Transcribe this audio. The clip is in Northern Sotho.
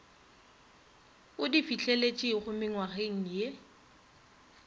o di fihleletšego mengwageng ye